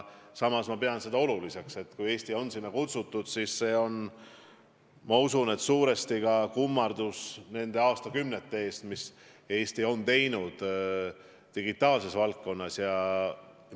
Samas ma arvan, et kui Eesti on sinna kutsutud, siis see on suuresti kummardus selle eest, mis Eesti on aastakümnete jooksul digitaalses valdkonnas teinud.